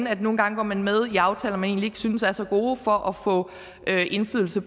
at nogle gange går man med i aftaler man ikke synes er så gode for at få indflydelse